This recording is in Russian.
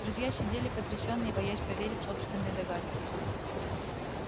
друзья сидели потрясённые боясь поверить собственной догадке